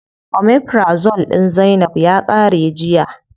Omeprazole din zainab ya qare jiya.